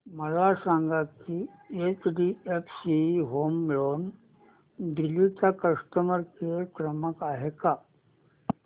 मला सांगा की एचडीएफसी होम लोन दिल्ली चा कस्टमर केयर क्रमांक आहे का